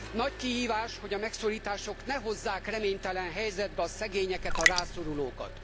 Nagy kihívás, hogy a megszorítások ne hozzák reménytelen helyzetbe a szegényeket, a rászorulókat.